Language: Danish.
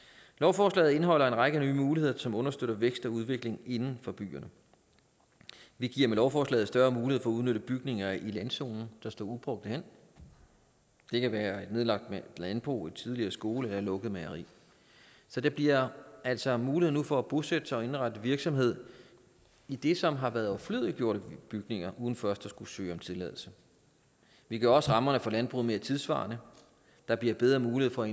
lovforslaget indeholder en række nye muligheder som understøtter vækst og udvikling inden for byerne vi giver med lovforslaget større mulighed for at udnytte bygninger i landzonen der står ubrugte hen det kan være et nedlagt landbrug en tidligere skole eller et lukket mejeri så der bliver altså nu mulighed for at bosætte sig og indrette en virksomhed i det som har været overflødiggjorte bygninger uden først at skulle søge om tilladelse vi gør også rammerne for landbruget mere tidssvarende der bliver bedre mulighed for